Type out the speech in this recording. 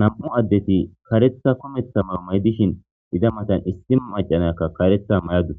nam7u addeti karetha kumetha moruma7idishin iza matan issi macanakka kareta may7adu